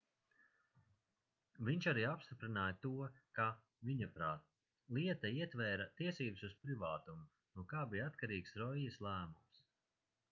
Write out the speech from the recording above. viņš arī apstiprināja to ka viņaprāt lieta ietvēra tiesības uz privātumu no kā bija atkarīgs roijas lēmums